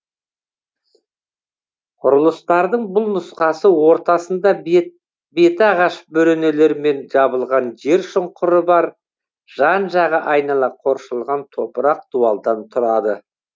құрылыстардың бұл нұсқасы ортасында беті ағаш бөренелермен жабылған жер шұңқыры бар жан жағы айнала қоршалған топырақ дуалдан тұрады